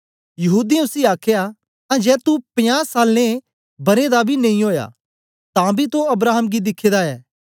यहूदीयें उसी आखया अजां तू पंजें सालें बरें दा बी नेई ओया तांबी तो अब्राहम गी दिखे दा ऐ